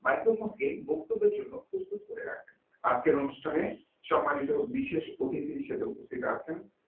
microphone কে বক্তব্যের জন্য প্রস্তুত করে রাখেন আজকের অনুষ্ঠানে সম্মানিত বিশেষ অতিথি হিসেবে উপস্থিত আছেন